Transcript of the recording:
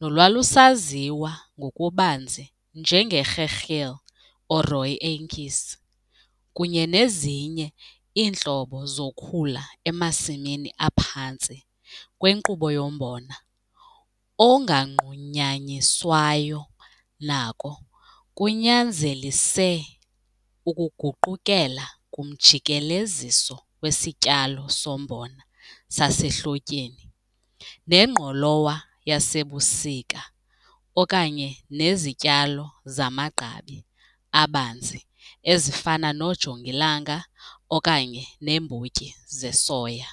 nolwalusaziwa ngokubanzi njenge-gegeel or rooi uintjies, kunye nezinye iintlobo zokhula emasimini aphantsi kwenkqubo yombona onganqunyanyiswayo nako kunyanzelise ukuguqukela kumjikeleziso wesityalo sombona sasehlotyeni nengqolowa yasebusika okanye nezityalo zamagqabi abanzi ezifana noojongilanga okanye neembotyi zesoya.